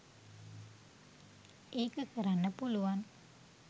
ඒක කරන්න පුළුවන්.